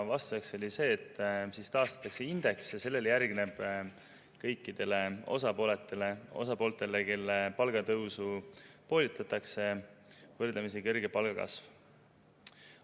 Vastuseks öeldi, et siis taastatakse indeks ja sellele järgneb kõikidele osapooltele, kelle palgatõus praegu poolitatakse, võrdlemisi kõrge palgakasv.